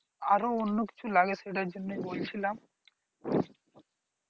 আরো অন্য কিছু লাগে সেটার জন্য বলছিলাম।